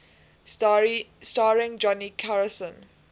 starring johnny carson